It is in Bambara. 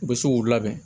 U bɛ se k'u labɛn